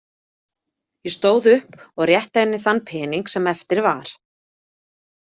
Ég stóð upp og rétti henni þann pening sem eftir var.